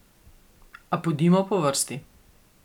A pojdimo po vrsti.